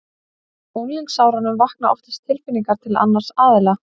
Á unglingsárunum vakna oftast tilfinningar til annars aðila.